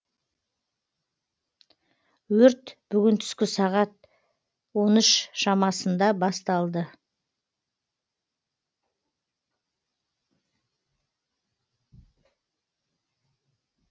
өрт бүгін түскі сағат он үш шамасында басталды